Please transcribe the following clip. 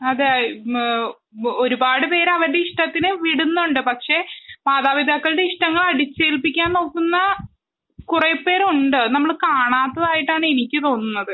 അതെ ഒരുപാട് പേര് അവരുടെ ഇഷ്ടത്തിന് വിടുന്നുണ്ട് പക്ഷെ മാതാപിതാക്കളുടെ ഇഷ്ടങ്ങൾ അടിച്ചേൽപ്പിക്കാൻ നോക്കുന്ന കുറെ പേര് ഉണ്ട് നമ്മൾ കാണാത്തതായിട്ടാണ് എനിക്ക് തോന്നുന്നത്